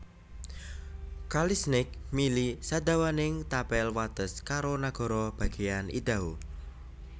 Kali Snake mili sadawaning tapel wates karo nagara bagéyan Idaho